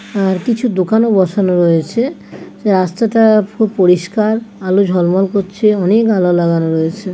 আর কিছু দোকানে বসানো রয়েছে যে রাস্তাটা খুব পরিষ্কার আলো ঝলমল করছেঅনেক আলো লাগানো রয়েছে ।